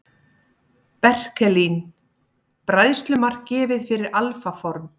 Berkelín: Bræðslumark gefið fyrir alfa form.